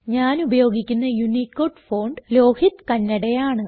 ഞാൻ ഉപയോഗിക്കുന്ന Unicode font Lohit Kannada ആണ്